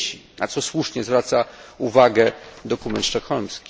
dzieci, na co słusznie zwraca uwagę dokument sztokholmski.